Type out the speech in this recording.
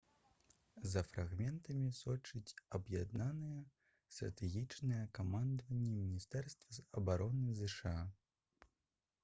за фрагментамі сочыць аб'яднанае стратэгічнае камандаванне міністэрства абароны зша